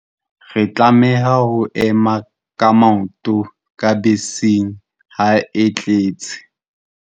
Re tlameha ho ema ka maoto ka beseng ha e tletse.